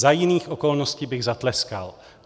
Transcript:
Za jiných okolností bych zatleskal.